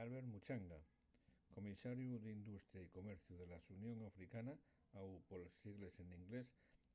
albert muchanga comisariu d’industria y comerciu de la xunión africana au poles sos sigles n’inglés